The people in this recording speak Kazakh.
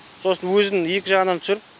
сосын өзін екі жағынан түсіріп